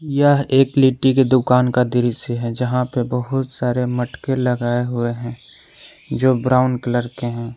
यह एक लिट्टी की दुकान का दृश्य है जहां पर बहुत सारे मटके लगाए हुए हैं जो ब्राउन कलर के हैं।